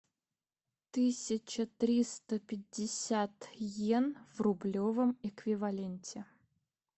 тысяча триста пятьдесят йен в рублевом эквиваленте